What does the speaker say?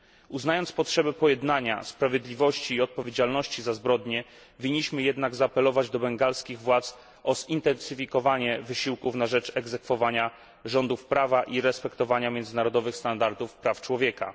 Uznając potrzebę pojednania, sprawiedliwości i odpowiedzialności za zbrodnie, winniśmy jednak zaapelować do bengalskich władz o zintensyfikowanie wysiłków na rzecz egzekwowania rządów prawa i respektowania międzynarodowych standardów praw człowieka.